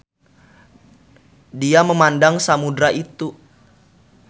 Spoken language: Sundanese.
Dia memandang samudera itu.